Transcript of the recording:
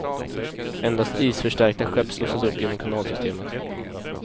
Endast isförstärkta skepp slussas upp genom kanalsystemet.